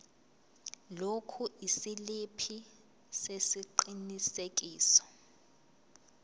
lokhu isiliphi sesiqinisekiso